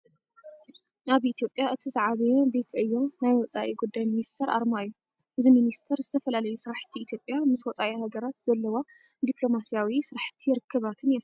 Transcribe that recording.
ኣብ ኢትዮጵያ እቲ ዝዓበየ ቤት ዕዮ ናይ ወፃኢ ጉዳይ ሚኒስቴር ኣርማ እዩ። እዚ ሚኒስቴር ዝተፈላለዩ ስራሕቲ ኢትዮጵያ ምስ ወፃኢ ሃገራት ዘለዋ ዲፕሎማሲያዊ ስራሕት ርክባትን የሳልጥ።